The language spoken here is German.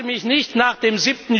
ist. Ich lasse mich nicht nach